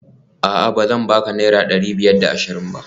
A'a bazan baka naira dari biyar da ashirin ba?